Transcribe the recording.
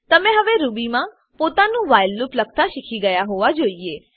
તમે હવે રૂબીમાં પોતાનું વ્હાઈલ લૂપ લખતા શીખી ગયા હોવા જોઈએ